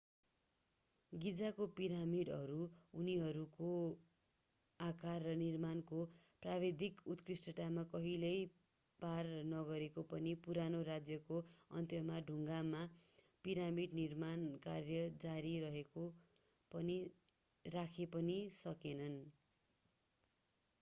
गिजाको पिरामिडहरू उनीहरूको आकार र निर्माणको प्राविधिक उत्कृष्टतामा कहिल्यै पार नगरे पनि पुरानो राज्यको अन्त्यसम्म ढुङ्गामा पिरामिड निर्माण कार्य जारी राखे पनि सकेनन्